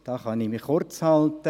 Da kann ich mich kurzhalten.